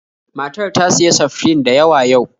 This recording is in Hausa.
Matar ta siya seftrin da yawa yau